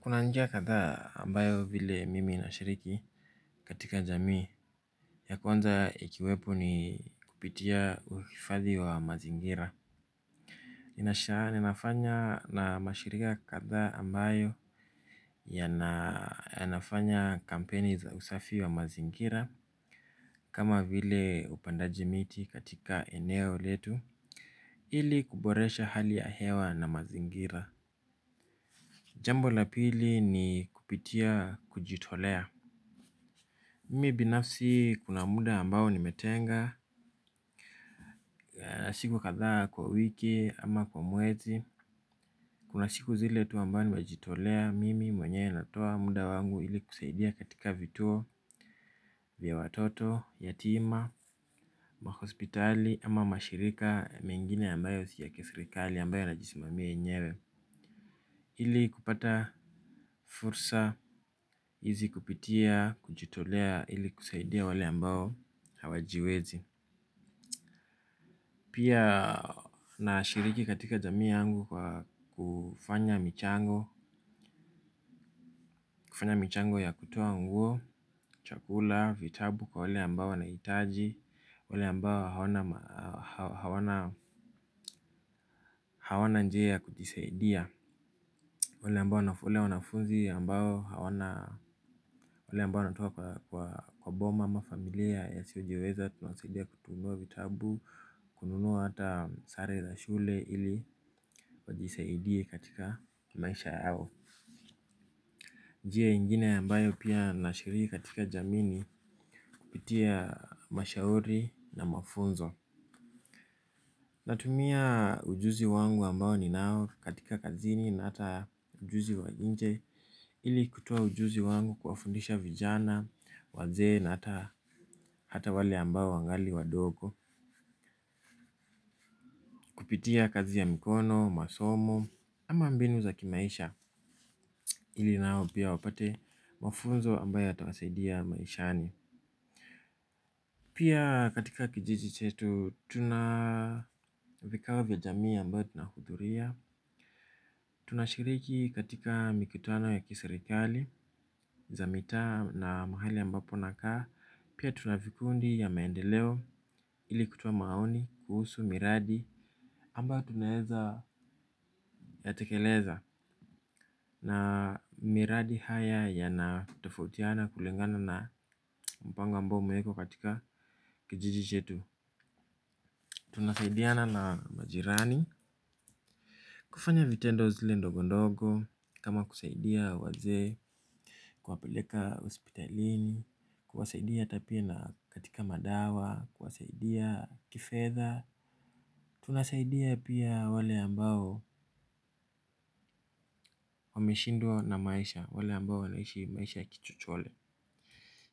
Kuna njia kadhaa ambayo vile mimi nashiriki katika jamii. Ya kwanza ikiwepo ni kupitia uhifadhi wa mazingira. Ninasha ninafanya na mashirika kadhaa ambayo yanafanya kampeni za usafi wa mazingira. Kama vile upandaji miti katika eneo letu ili kuboresha hali ya hewa na mazingira. Jambo la pili ni kupitia kujitolea mimi binafsi kuna muda ambao nimetenga wa siku kadhaa kwa wiki ama kwa mwezi. Kuna siku zile tu ambayo najitolea Mimi mwenyewe natoa muda wangu ili kusaidia katika vituo vya watoto, yatima, wa hospitali ama mashirika mengine ambayo si ya kiserikali ambayo yanajisimamia yenyewe ili kupata fursa hizi kupitia kujitolea ili kusaidia wale ambao hawajiwezi. Pia nashiriki katika jamii yangu kwa kufanya michango. Kufanya michango ya kutoa nguo, chakula, vitabu kwa wale ambao wanahitaji. Wale ambao hawana njia ya kujisaidia wale wanafunzi ambao wanatoa kwa kwa boma ama familia isiyojiweza tunawasidia kununua vitabu, kununua hata sare za shule ili wajisaidie katika maisha yao. Njia ingine ambayo pia nashiriki katika jamii ni kupitia mashauri na mafunzo. Natumia ujuzi wangu ambao ninao katika kazini na ata ujuzi wa nje ili kutoa ujuzi wangu kuwafundisha vijana, wazee na hata wale ambao wangali wadogo. Kupitia kazi ya mikono, masomo ama mbinu za kimaisha ili nao pia wapate mafunzo ambayo yatawasaidia maishani. Pia katika kijiji chetu tuna vikao vya jamii ambayo tunahudhuria. Tunashiriki katika mikutano ya kiserikali, za mitaa na mahali ambapo nakaa pia tuna vikundi ya maendeleo ili kutoa maoni kuhusu miradi ambayo tunaeza yatekeleza. Na miradi haya yanatofutiana kulingana na mpango ambao umeekwa katika kijiji chetu. Tunasaidiana na majirani. Kufanya vitendo zile ndogo ndogo, kama kusaidia wazee, kuwapeleka hospitalini, kuwasaidia hata pia na katika madawa, kwasaidia kifedha, tunasaidia pia wale ambao wameshindwa na maisha, wale ambao wanaishi maisha ya kichochole.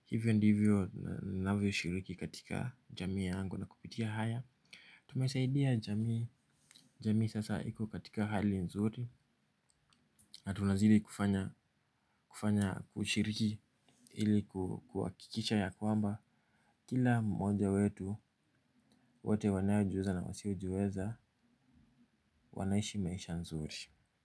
Hivyo ndivyo ninavyoshiriki katika jamii yangu na kupitia haya. Tumesaidia jamii sasa iko katika hali nzuri. Na tunazidi kufanya kushiriki ili kuhakikisha ya kwamba kila mmoja wetu wote wanaojiweza na wasio jiweza wanaishi maisha nzuri.